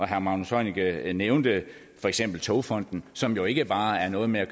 herre magnus heunicke nævnte for eksempel togfonden som jo ikke bare er noget med at